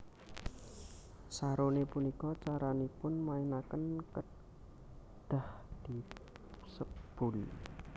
Saroné punika caranipun mainaken kedhah disebul